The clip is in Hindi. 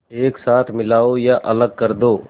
एक साथ मिलाओ या अलग कर दो